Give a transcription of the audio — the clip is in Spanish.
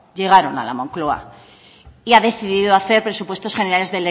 llegaron a la moncloa y ha decidido hacer presupuestos generales